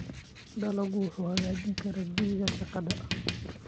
Dalaggu wuxuu hagaajin karaa jawiga shaqada.